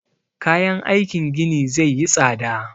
Kayan aikin gini zai yi tsada